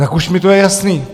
Tak už mi to je jasný!